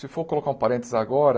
Se for colocar um parêntese agora...